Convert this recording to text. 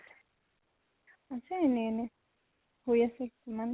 আছে এনে এনে। শুই আছে ইমান।